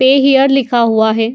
पे हियर लिखा हुआ है।